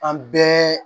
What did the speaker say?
An bɛɛ